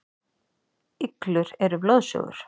Iglur eru blóðsugur.